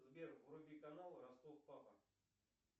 сбер вруби канал ростов папа